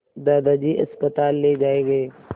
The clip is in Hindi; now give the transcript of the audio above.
दादाजी अस्पताल ले जाए गए